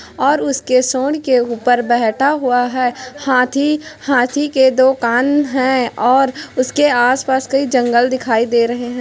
और उसके सूंड के ऊपर बैठा हुआ है हाथी-हाथी के दो कान है और उसके आस-पास जंगल दिखाई दे रहे है।